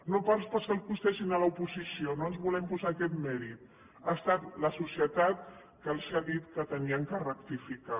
no pas l’oposició no ens volem posar aquest mèrit ha estat la societat que els ha dit que havien de rectificar